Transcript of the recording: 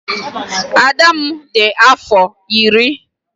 Ada m nwaanyị di afọ iri.